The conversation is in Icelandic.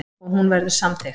Og hún verður samþykkt.